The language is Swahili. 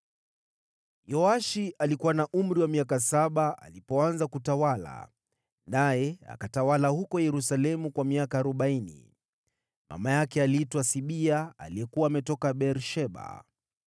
Yoashi alikuwa na umri wa miaka saba alipoanza kutawala, naye akatawala huko Yerusalemu kwa miaka arobaini. Mama yake aliitwa Sibia aliyekuwa ametoka Beer-Sheba.